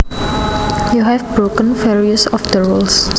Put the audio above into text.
You have broken various of the rules